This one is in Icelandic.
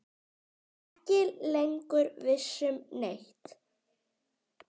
Ekki lengur viss um neitt.